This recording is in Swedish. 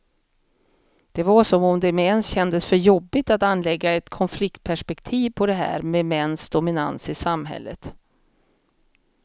Det var som om det med ens kändes för jobbigt att anlägga ett konfliktperspektiv på det här med mäns dominans i samhället.